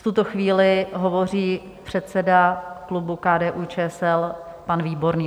V tuto chvíli hovoří předseda klubu KDU-ČSL pan Výborný.